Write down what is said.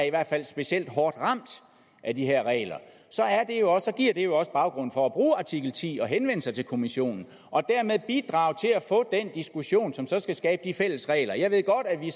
i hvert fald er specielt hårdt ramt af de her regler giver det jo også baggrund for at bruge artikel ti og henvende sig til kommissionen og dermed bidrage til at få den diskussion som så skal skabe de fælles regler jeg ved godt at vi